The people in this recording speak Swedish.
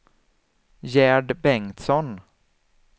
Gerd Bengtsson